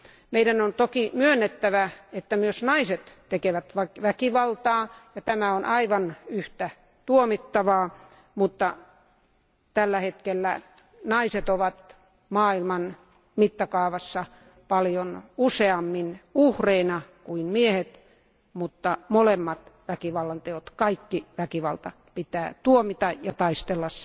Meidän on toki myönnettävä, että myös naiset tekevät väkivaltaa ja tämä on aivan yhtä tuomittavaa, mutta tällä hetkellä naiset ovat maailman mittakaavassa paljon useammin uhreina kuin miehet, mutta molemmat väkivallanteot, kaikki väkivalta pitää tuomita ja taistella